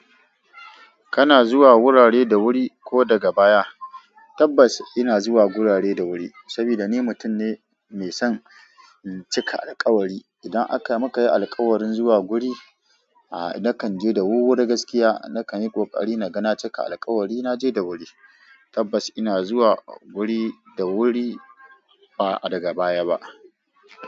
Kana zuwa wurare da wuri ko daga baya? Tabbas ina zuwa gurare da wuri, saboda ni mutum ne mai son cika alkawari. Idan aka maka yi alkawarin zuwa wuri, aaa nakan je da wuri da gaskiya. Nakan yi kokari na ga na cika alkawari. Na je da wuri. Tabbas ina zuwa wuri da wuri, ba daga baya ba.